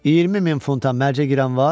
20 min funta mərcə girən var?